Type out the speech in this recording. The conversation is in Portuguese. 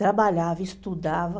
Trabalhava, estudava.